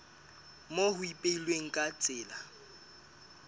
moo ho ipehilweng ka tsela